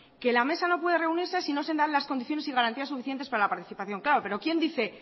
que la mesa no puede reunirse si no se dan las condiciones y garantías suficientes para la participación claro pero quién dice